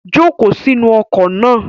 Joko si inu oko na